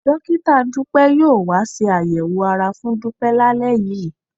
Dọ́kítà Dúpẹ́ yóò wá ṣe àyẹ̀wò ara fún Dúpẹ́ lálẹ́ yìí